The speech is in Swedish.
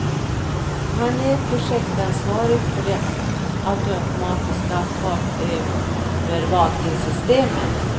Han är projektansvarig för det automatiska fartövervakningssystemet.